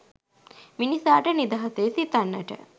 මිනිසාට නිදහසේ සිතන්නට